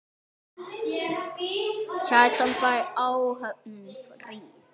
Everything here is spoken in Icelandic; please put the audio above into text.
Kjartan: Fær áhöfnin frí?